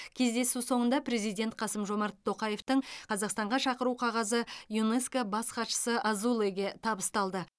кездесу соңында президент қасым жомарт тоқаевтың қазақстанға шақыру қағазы юнеско бас хатшысы азулеге табысталды